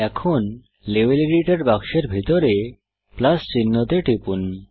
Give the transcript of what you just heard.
এখন level editor বাক্সের ভিতরে প্লাস চিহ্নতে টিপুন